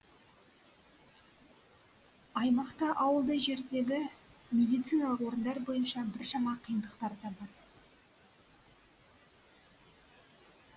аймақта ауылды жердегі медициналық орындар бойынша біршама қиындықтар да бар